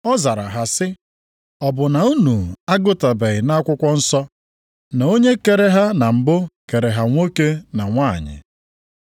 Ọ zara ha sị, “Ọ bụ na unu agụtabeghị na akwụkwọ nsọ, na Onye kere ha na mbụ kere ha nwoke na nwanyị.